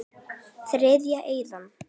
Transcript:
Þriðja eyðan.